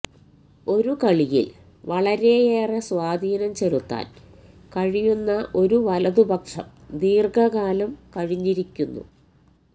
ഒരു കളിയിൽ വളരെയേറെ സ്വാധീനം ചെലുത്താൻ കഴിയുന്ന ഒരു വലതുപക്ഷം ദീർഘകാലം കഴിഞ്ഞിരിക്കുന്നു